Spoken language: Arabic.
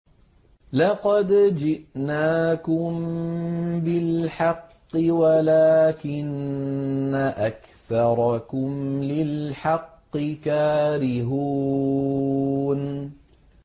لَقَدْ جِئْنَاكُم بِالْحَقِّ وَلَٰكِنَّ أَكْثَرَكُمْ لِلْحَقِّ كَارِهُونَ